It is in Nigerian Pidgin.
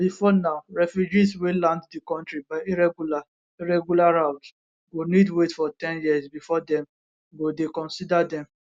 bifor now refugees wey land di kontri by irregular irregular routes go need wait for ten years bifor dem go dey consider dem